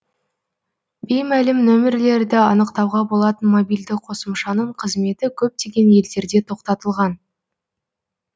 беймәлім нөмірлерді анықтауға болатын мобильді қосымшаның қызметі көптеген елдерде тоқтатылған